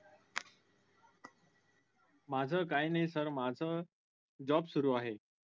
माझं काय नाही sir माझं job सुरु आहे.